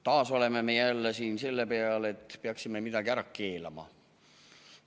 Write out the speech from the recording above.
Taas oleme siin jõudnud selleni, et peaksime midagi ära keelama.